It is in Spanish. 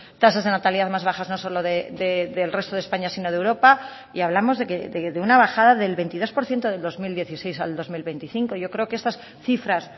tasas de natalidad más bajas no solo del resto de españa sino de europa y hablamos de una bajada del veintidós por ciento del dos mil dieciséis al dos mil veinticinco yo creo que estas cifras